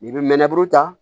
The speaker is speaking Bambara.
I bɛ mɛnɛburu tan